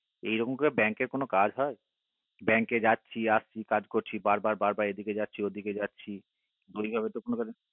এরকম করে bank এর কোনো কি কাজ হয় bank কে যাচ্ছি আসছি কাজ করছি বার বার এইদিকে যাচ্ছি ঐদিকে যাচ্ছি ঐভাবে